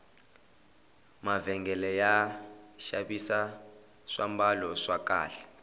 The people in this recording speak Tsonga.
mavhengele ya xavisa swambalo swa kahle